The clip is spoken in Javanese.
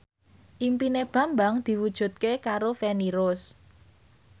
impine Bambang diwujudke karo Feni Rose